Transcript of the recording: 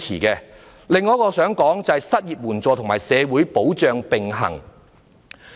此外，我想談談失業援助及社會保障並行。